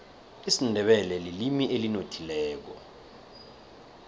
isindebele lilimi elinothileko